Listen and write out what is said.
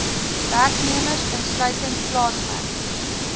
werknemers insluitend plaaswerkers